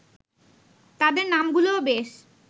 তাদের নামগুলোও বেশ